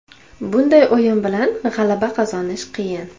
Bunday o‘yin bilan g‘alaba qozonish qiyin.